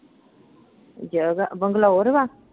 ਜਗ੍ਹਾ ਬੰਗਲੌਰ ਵਾ।